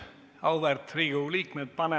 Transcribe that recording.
Auväärt Riigikogu liikmed!